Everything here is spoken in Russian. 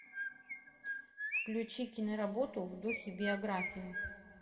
включи киноработу в духе биографии